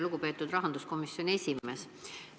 Lugupeetud rahanduskomisjoni esimees!